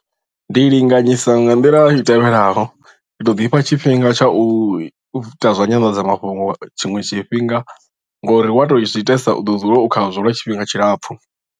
Ndi linganyisa nga nḓila i tevhelaho ndi to ḓifha tshifhinga tsha u ita zwa nyanḓadzamafhungo tshiṅwe tshifhinga ngori wa to zwi itesa u ḓo dzula u khazwo lwa tshifhinga tshilapfhu.